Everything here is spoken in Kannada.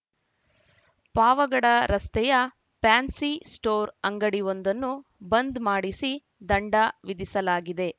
ಪಾವಗಡ ರಸ್ತೆಯ ಫ್ಯಾನ್ಸಿಸ್ಟೋರ್‌ ಅಂಗಡಿವೊಂದನ್ನು ಬಂದ್‌ ಮಾಡಿಸಿ ದಂಡ ವಿಧಿಸಲಾಗಿದೆ